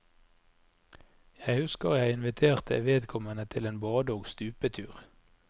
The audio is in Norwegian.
Jeg husker at jeg inviterte vedkommende til en bade og stupetur.